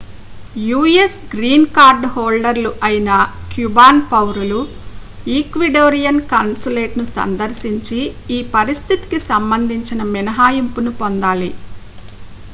us green card హోల్డర్‌లు అయిన cuban పౌరులు ecuadorian consulateను సందర్శించి ఈ పరిస్థితికి సంబంధించిన మినహాయింపును పొందాలి